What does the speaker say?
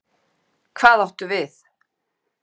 ÞÓRBERGUR: Hvað áttu við?